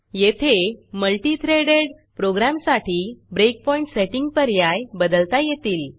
येथे multi threaded प्रोग्रॅमसाठी breakpoint setting पर्याय बदलता येतील